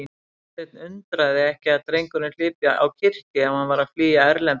Martein undraði ekki að drengurinn hlypi á kirkju ef hann var að flýja Erlend Þorvarðarson.